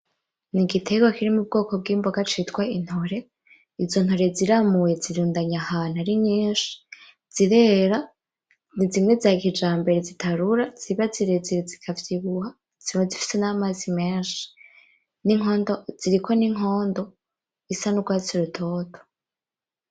N'igiterwa kiri m'ubwoko bw'imboga citwa intore, izo ntore ziramuwe zirundanye ahantu ari nyinshi. Zirera, nizimwe za kijambere zitarura, ziba zirezire zikavyibuha, ziba zifise n'amazi menshi. Ziriko n'inkondo, isa n'urwatsi rutoto.